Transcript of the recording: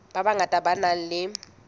ba bangata ba nang le